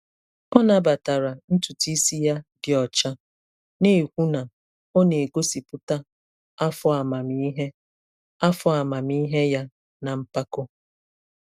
O nabatara ntutu isi ya dị ọcha, na-ekwu na ọ na-egosipụta afọ amamihe afọ amamihe ya na mpako.